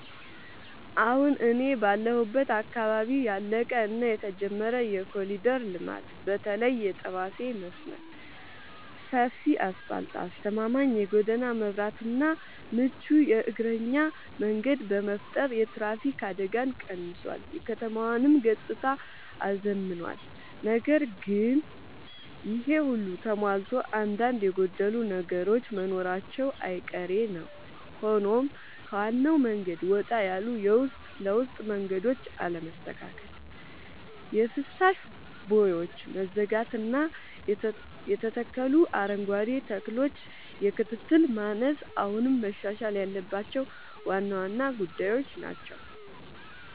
አሁን እኔ ባለሁበት አካባቢ ያለቀ እና የተጀመረ የኮሪደር ልማት (በተለይ የጠባሴ መስመር) ሰፊ አስፋልት: አስተማማኝ የጎዳና መብራትና ምቹ የእግረኛ መንገድ በመፍጠር የትራፊክ አደጋን ቀንሷል: የከተማዋንም ገጽታ አዝምኗል። ነገር ግን ይሄ ሁሉ ተሟልቶ አንዳንድ የጎደሉ ነገሮች መኖራቸው አይቀሬ ነዉ ሆኖም ከዋናው መንገድ ወጣ ያሉ የውስጥ ለውስጥ መንገዶች አለመስተካከል: የፍሳሽ ቦዮች መዘጋጋትና የተተከሉ አረንጓዴ ተክሎች የክትትል ማነስ አሁንም መሻሻል ያለባቸው ዋና ዋና ጉዳዮች ናቸው።